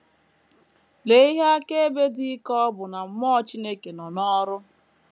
Lee ihe akaebe dị ike ọ bụ na mmụọ Chineke nọ n’ọrụ!